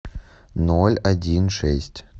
ноль один шесть